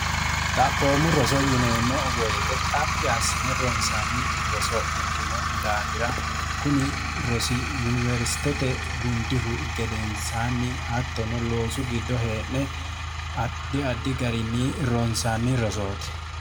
xaphoommu roso yineemmo woyite xaphi assine ronsaanni roso ikkino daafira kuni rosi yuniwersitete gundihu gedensaanni attono loosu giddo hee'ne addi addi garinni ronsaanni rosooti